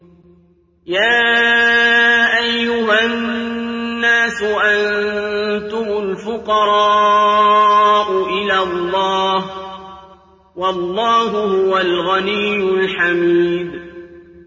۞ يَا أَيُّهَا النَّاسُ أَنتُمُ الْفُقَرَاءُ إِلَى اللَّهِ ۖ وَاللَّهُ هُوَ الْغَنِيُّ الْحَمِيدُ